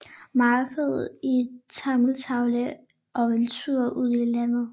Markedet i Tamatave og en Tur ud i Landet